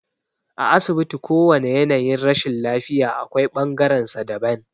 A asibiti kowane yanayin rashin lafiya akwai bangaren sa daban